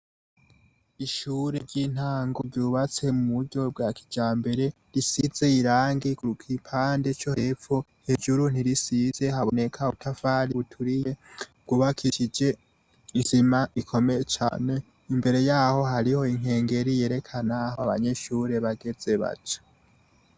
Ishure ry'intango ryubatse mu buryo bwa kijambere, risize irangi ku gipande co hepfo; Hejuru ntirisize haboneka ubutafari buturiye, bwubakishije isima ikomeye cane. Imbere yaho hariho inkengeri yerekana aho abanyeshure bageze baca.